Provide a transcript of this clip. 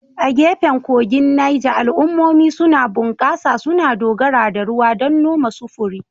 A gefen kogin Neja, al'ummomi suna bunƙasa, suna dogara da ruwan don noma, sufuri.